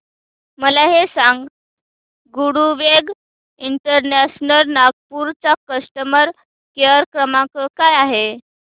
मला हे सांग गरुडवेग इंटरनॅशनल नागपूर चा कस्टमर केअर क्रमांक काय आहे